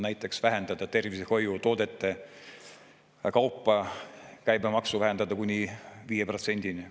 Näiteks võiks tervishoiutoodete käibemaksu vähendada kuni 5%-ni.